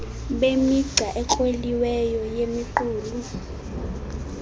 bemigca ekroliweyo yemiqulu